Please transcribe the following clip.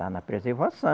Está na preservação.